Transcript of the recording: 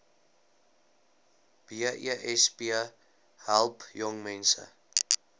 besp help jongmense